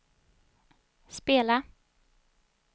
spela